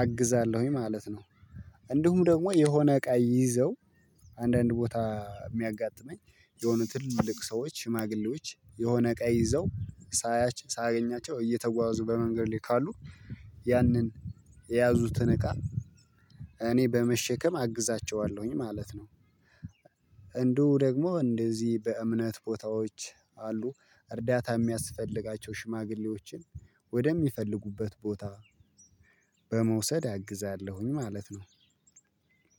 አግዛለሁኝ ማለት ነው። እንዲሁም ደግሞ የሆነ እቃ ይዘው አንዳንድ ቦታ የሚያጋጥመኝ የሆነ ትላልቅ ሰዎች ሽማግሌዎች የሆነ እቃ ይዘው ሳገኛቸው እየተጓዙ በመንገድ ላይ ካሉ ያንን የያዙትን እቃ እኔ በመሸከም አግዛቸዋለሁኝ ማለት ነው። እንደው ደግሞ እንደዚህ በእምነት ቦታዎች አሉ እርዳታ የሚያስፈልጋቸው ሽማግሌዎችን ወደሚፈልጉበት ቦታ በመውሰድ አግዛለሁኝ ማለት ነው።